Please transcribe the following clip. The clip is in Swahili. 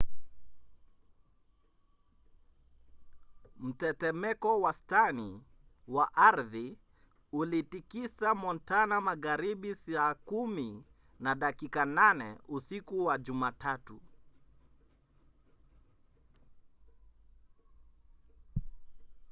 mtetemeko wastani wa ardhi ulitikisa montana magharibi saa 4 na dakika 8 usiku wa jumatatu